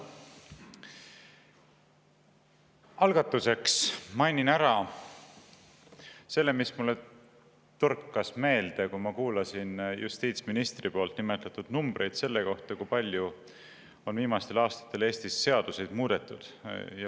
Algatuseks mainin ära selle, mis mulle torkas meelde, kui ma kuulasin justiitsministri nimetatud numbreid selle kohta, kui palju on viimastel aastatel Eestis seadusi muudetud.